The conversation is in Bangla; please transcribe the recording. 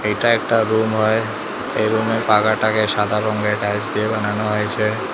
এটা একটা রুম হয় এ রুম -এ পাকাটাকে সাদা রংয়ের টাইলস দিয়ে বানানো হয়েছে।